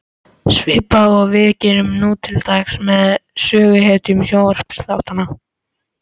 Svipað og við gerum nú til dags með söguhetjum sjónvarpsþáttanna.